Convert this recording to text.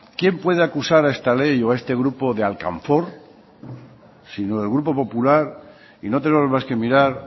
quién puede acusar a esta ley o a este grupo de alcanfor sino el grupo popular y no tenemos más que mirar